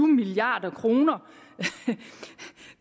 milliard kroner